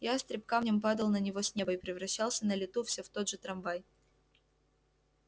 ястреб камнем падал на него с неба и превращался на лету все в тот же трамвай